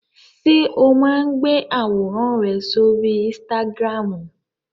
Ṣé o máa ń gbé àwòrán rẹ sóri Instagram?